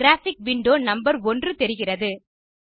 graphic window number 1 தெரிகிறது